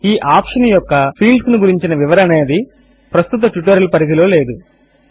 ఈ ఆప్షన్ యొక్క ఫీల్డ్స్ ను గురించిన వివరణ అనేది ప్రస్తుత ట్యూటోరియల్ పరిధిలో లేదు